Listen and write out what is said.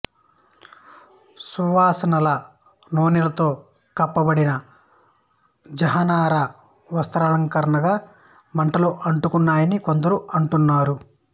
సువాసనగల నూనెలతో కప్పబడిన జహానారా వస్త్రాలకారణంగా మంటలు అంటుకున్నాయని కొందరు అంటున్నారు